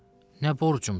Nə borcumdur?